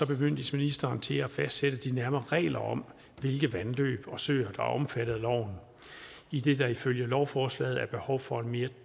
bemyndiges ministeren til at fastsætte de nærmere regler om hvilke vandløb og søer der er omfattet af loven idet der ifølge lovforslaget er behov for en mere